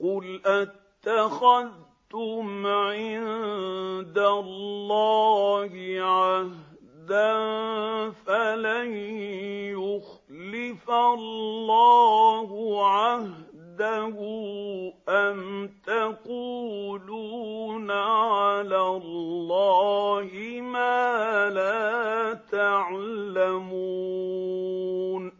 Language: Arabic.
قُلْ أَتَّخَذْتُمْ عِندَ اللَّهِ عَهْدًا فَلَن يُخْلِفَ اللَّهُ عَهْدَهُ ۖ أَمْ تَقُولُونَ عَلَى اللَّهِ مَا لَا تَعْلَمُونَ